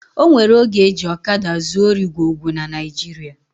O nwere oge eji ọkada zuo ori gwo gwo na Naijiria